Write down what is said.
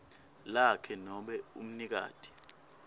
lakhe nobe umnikati